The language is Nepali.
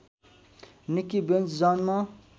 निक्की बेन्ज जन्म